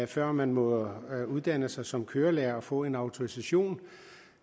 før man må uddanne sig som kørelærer og få en autorisation